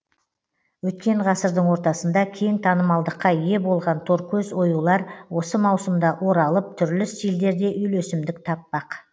өткен ғасырдың ортасында кең танымалдылыққа ие болған торкөз оюлар осы маусымда оралып түрлі стильдерде үйлесімдік таппақ